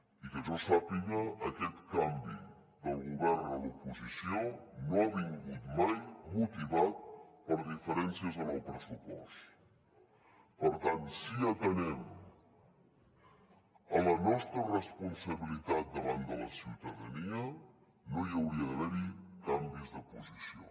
i que jo sàpiga aquest canvi del govern a l’oposició no ha vingut mai motivat per diferències en el pressupost per tant si atenem a la nostra responsabilitat davant de la ciutadania no hi hauria d’haver canvis de posició